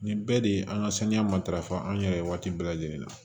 Nin bɛɛ de ye an ka saniya matarafa an yɛrɛ waati bɛɛ lajɛlen na